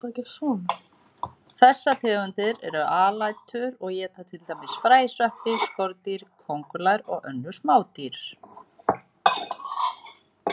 Þessar tegundir eru alætur og éta til dæmis fræ, sveppi, skordýr, kóngulær og önnur smádýr.